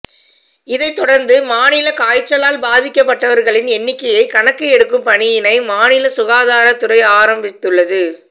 இதை தொடர்ந்து மாநிலத்தில் காய்ச்சலால் பாதிக்கப்பட்டவர்களின் எண்ணிக்கையை கணக்கு எடுக்கும் பணியினை மாநில சுகாதாரத்துறை ஆரம்பித்துள்ளது